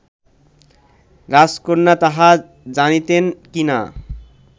রাজকন্যা তাহা জানিতেন কি না